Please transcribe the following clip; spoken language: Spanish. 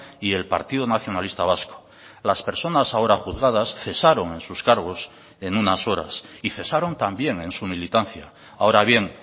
y el partido nacionalista vasco las personas ahora juzgadas cesaron en sus cargos en unas horas y cesaron también en su militancia ahora bien